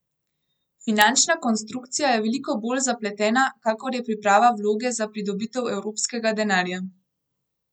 Finančna konstrukcija je veliko bolj zapletena, kakor je priprava vloge za pridobitev evropskega denarja.